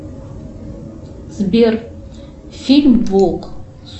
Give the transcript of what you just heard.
сбер фильм волк